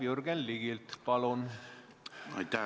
Aitäh!